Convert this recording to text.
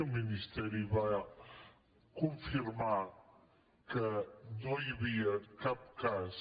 el ministeri va confirmar que no hi havia cap cas